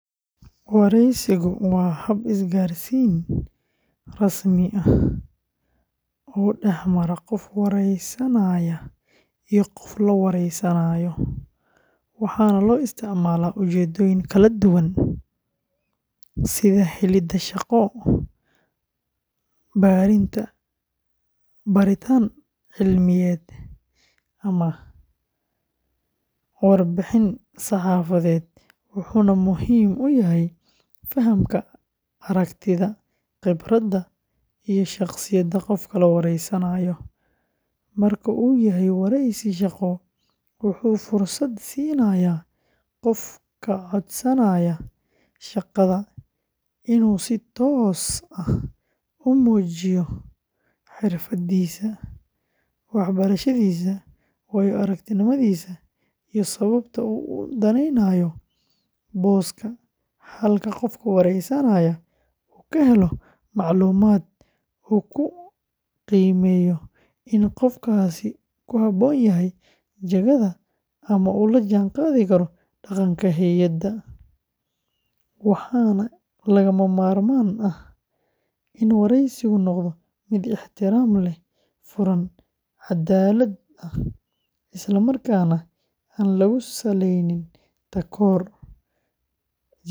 Wareysigu waa hab isgaarsiin rasmi ah oo dhex mara qof waraysanaya iyo qof la wareysanayo, waxaana loo isticmaalaa ujeeddooyin kala duwan sida helidda shaqo, baaritaan cilmiyeed, ama warbixin saxaafadeed, wuxuuna muhiim u yahay fahamka aragtida, khibradda, iyo shakhsiyadda qofka la wareysanayo; marka uu yahay wareysi shaqo, wuxuu fursad siinayaa qofka codsanaya shaqada inuu si toos ah u muujiyo xirfadiisa, waxbarashadiisa, waayo-aragnimadiisa iyo sababta uu u daneynayo booskaas, halka qofka wareysanaya uu ka helo macluumaad uu ku qiimeeyo in qofkaasi ku habboon yahay jagada ama uu la jaanqaadi karo dhaqanka hay’adda, waxaana lagama maarmaan ah in wareysigu noqdo mid ixtiraam leh, furan, cadaalad ah, islamarkaana aan lagu salayn takoorka jinsiga.